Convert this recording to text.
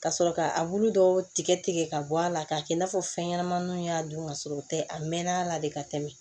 Ka sɔrɔ ka a bulu dɔw tigɛ tigɛ tigɛ ka bɔ a la k'a kɛ i n'a fɔ fɛn ɲɛnamaninw y'a don ka sɔrɔ o tɛ a mɛn a la de ka tɛmɛ